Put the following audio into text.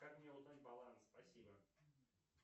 как мне узнать баланс спасибо